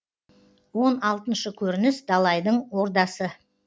он алтыншы көрініс далайдың ордасы